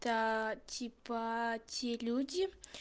та типа те люди